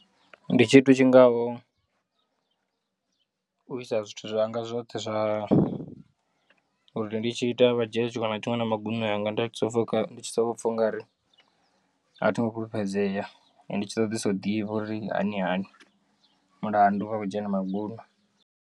Ndi tshithu tshingaho u isa zwithu zwanga zwoṱhe zwa uri ndi tshi ita vha dzhie tshiṅwe na tshiṅwe na magunwe anga nda pfha ndi tshi soko pfha ungari a thingo fhulufhedzea ndo tshi ṱoḓesa u ḓivha uri hani hani mulandu vha kho dzhia na magunwe.